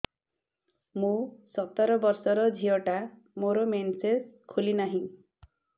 ମୁ ସତର ବର୍ଷର ଝିଅ ଟା ମୋର ମେନ୍ସେସ ଖୁଲି ନାହିଁ